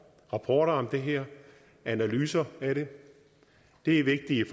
rapporter om det her og analyser af det det er vigtigt